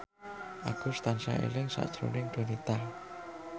Agus tansah eling sakjroning Donita